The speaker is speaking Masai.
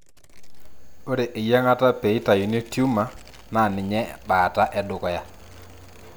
Ore eyiangata peitayuni tumor naa ninye bataa edukuya.